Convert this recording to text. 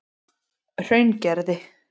Hraungerði